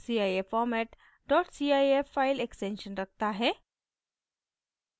cif format cif file extension रखता है